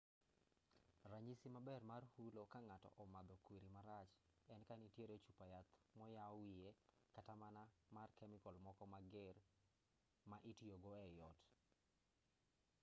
ranyisi maber mar hulo ka ng'ato omadho kwiri marach en ka nitiere chupa yath moyaw wiye kata mana mar kemical moko mager ma itiyogo ei ot